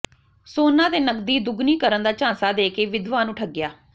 ਸੋਨਾ ਤੇ ਨਗਦੀ ਦੁੱਗਣੀ ਕਰਨ ਦਾ ਝਾਂਸਾ ਦੇ ਕੇ ਵਿਧਵਾ ਨੂੰ ਠੱਗਿਆ